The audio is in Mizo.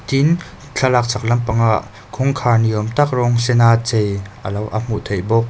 tin thlalak chhak lampangah kawngkhar ni awmtak rawnsen a chei alo a hmuh theih bawk.